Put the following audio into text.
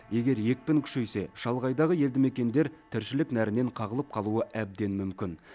егер екпін күшейсе шалғайдағы елді мекендер тіршілік нәрінен қағылып қалуы әбден мүмкін